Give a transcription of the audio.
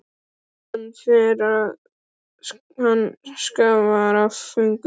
Hann fann að hann skalf af fögnuði.